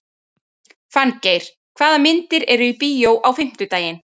Fanngeir, hvaða myndir eru í bíó á fimmtudaginn?